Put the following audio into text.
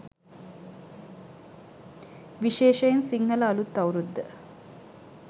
විශේෂයෙන් සිංහල අලුත් අවුරුද්ද